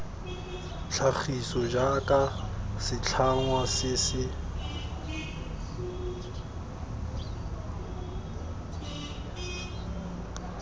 tlhagiso jaaka setlhangwa se se